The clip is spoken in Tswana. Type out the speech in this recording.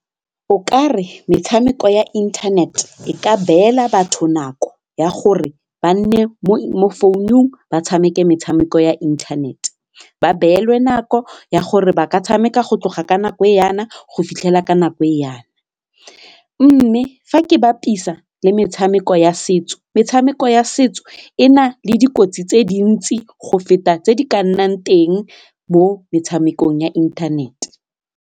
O kare metshameko ya internet e ka beela batho nako ya gore ba nne mo mo phone-ung ba tshameke metshameko ya internet, ba beelwe nako ya gore ba ka tshameka go tloga ka nako e yana go fitlhela ka nako e yana mme fa ke bapisa le metshameko ya setso metshameko ya setso e na le dikotsi tse dintsi go feta tse di ka nnang teng mo metshamekong ya inthanete.